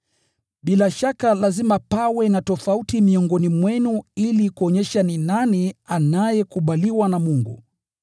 Bila shaka lazima pawe na tofauti miongoni mwenu ili kuonyesha ni nani anayekubaliwa na Mungu.